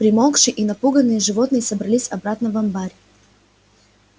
примолкшие и напуганные животные собрались обратно в амбар